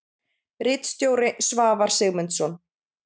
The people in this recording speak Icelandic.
Ritstjóri: Svavar Sigmundsson.